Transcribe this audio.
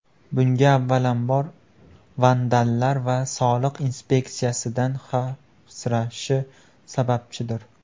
Bunga avvalambor, vandallar va soliq inspeksiyasidan xavfsirashi sababchidir.